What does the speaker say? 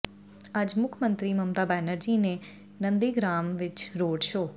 ਅੱਜ ਮੁੱਖ ਮੰਤਰੀ ਮਮਤਾ ਬੈਨਰਜੀ ਨੇ ਨੰਦੀਗ੍ਰਾਮ ਵਿੱਚ ਰੋਡ ਸ਼ੋਅ